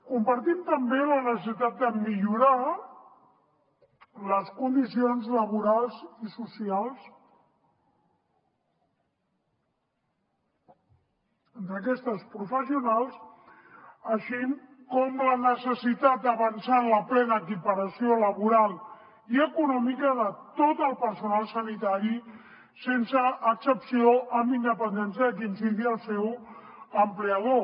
compartim també la necessitat de millorar les condicions laborals i socials d’aquestes professionals així com la necessitat d’avançar en la plena equiparació laboral i econòmica de tot el personal sanitari sense excepció amb independència de qui sigui el seu empleador